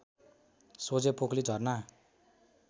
सोझै पोकली झरना